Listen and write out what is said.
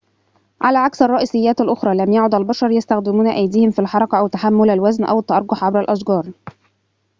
على عكس الرئيسيات الأخرى لم يَعد البشرُ يستخدمون أيديهم في الحركة أو تحمل الوزن أو التأرجح عبر الأشجار